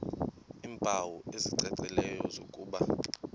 iimpawu ezicacileyo zokuba